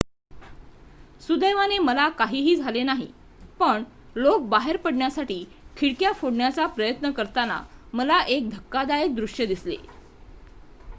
"""सुदैवाने मला काहीही झाले नाही पण लोक बाहेर पडण्यासाठी खिडक्या फोडण्याचा प्रयत्न करताना मला एक धक्कादायक दृश्य दिसले.""